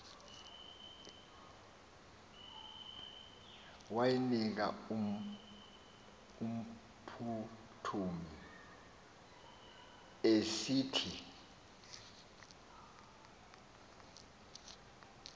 wayinika umphuthumi esithi